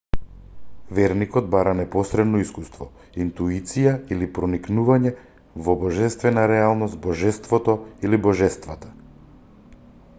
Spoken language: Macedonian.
верникот бара непосредно искуство интуиција или проникнување во божествена реалност/божеството или божествата